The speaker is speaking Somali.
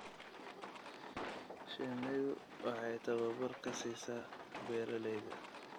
Shinnidu waxay tababar ka siisaa beeralayda.